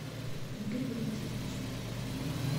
игорь валентинович